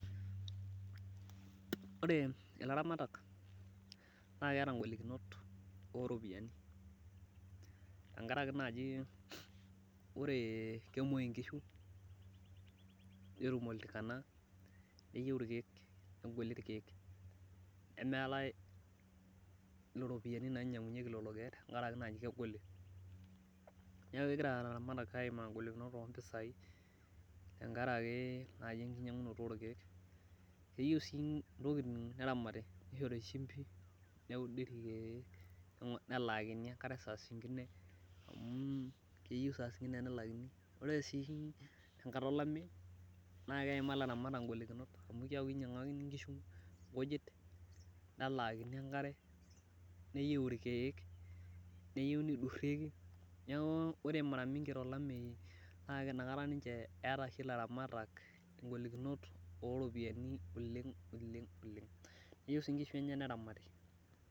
Ore ilaramatak naa keeta golikinot ooropiyiani tenkaraki naji kemuoi nkishu netum oltikan, neyieu irkeek, nemeetae iropiyiani nainyangunyeki lelo keek, tenkaraki naaji kegoli. neeku kegira ilaramatak aimaa ng'olikunot oo mpisai tenkaraki, enkinyiangunoto orkeek. keyieiu sii ntokitin neramati nishori shimpi. neudi irkeek, nelaakini enkare saa sinngine. amu keyieu saa singine nelaakini. ore sii tenkata olameyu naa keimaa ilaramatak igolikinot, amu keeku kinyiang'akini nkishu nkujit nelaakini enkare .neyieu irkeek neyieu nidurieki. neeku ore mara mingi tolameyu naa keeku inakata ninche eeta oshi ilaramatak igolikinot ooropiyiani. olenge Neyieu sii nkishu enye neramati.